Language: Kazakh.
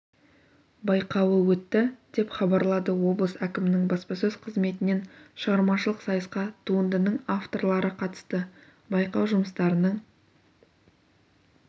байқауы өтті деп хабарлады облыс әкімінің баспасөз қызметінен шығармашылық сайысқа туындының авторлары қатысты байқау жұмыстарының